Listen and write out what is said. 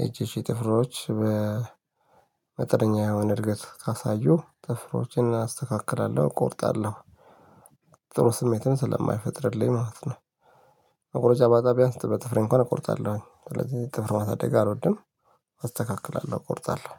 የእጆቼ ጥፍሮች በመጠነኛ የሆነ እድገት ካሳዩ ጥፍሮችን አስተካክላለሁ እቆርጣለሁ። ጥሩ ስሜትን ስለማይፈጥርልኝ ማለት ነው። መቁርጫ ባጣ ቢያንስ በጥፍሬ እንኳን እቆርጣለሁ። ስለዚህ ጥፍር ማሳደግ አልወድም። አስተካክላለሁ እቆርጣለሁ።